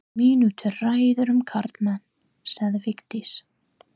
Mínútu ræða um karlmenn, sagði Vigdís.